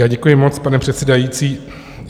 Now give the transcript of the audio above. Já děkuji moc, pane předsedající.